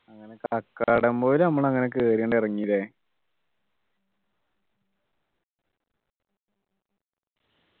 അങ്ങനെ കാക്കടംപൊയില് നമ്മള് കേറി അങ് ഇറങ്ങി ല്ലേ